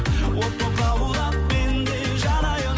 от боп лаулап мен де жанайын